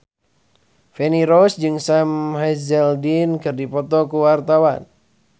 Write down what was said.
Feni Rose jeung Sam Hazeldine keur dipoto ku wartawan